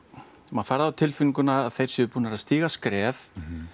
maður fær það á tilfinninguna að þeir séu búnir að stíga skref